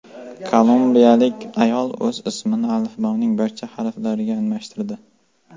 Kolumbiyalik ayol o‘z ismini alifboning barcha harflariga almashtirdi.